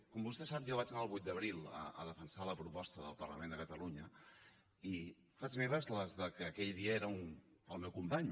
com vostè sap jo vaig anar el vuit d’abril a defensar la proposta del parlament de catalunya i faig meves les del que aquell dia era el meu company